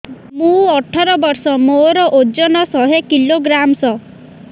ମୁଁ ଅଠର ବର୍ଷ ମୋର ଓଜନ ଶହ କିଲୋଗ୍ରାମସ